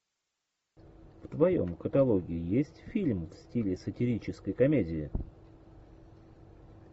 в твоем каталоге есть фильм в стиле сатирической комедии